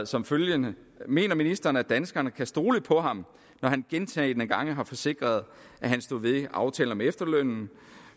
som følger mener ministeren at danskerne kan stole på ham når han gentagne gange har forsikret at han stod ved aftalen om efterlønnen